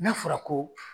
N'a fɔra ko